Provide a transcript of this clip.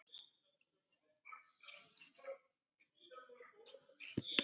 Og mér tókst það.